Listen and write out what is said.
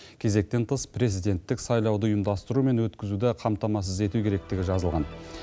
кезектен тыс президенттік сайлауды ұйымдастыру мен өткізуді қамтамасыз ету керектігі жазылған